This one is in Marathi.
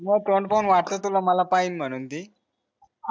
माझं तोंड पाहून वाटत ती माला पाहील म्हणून ती